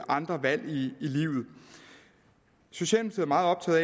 andre valg i livet socialdemokratiet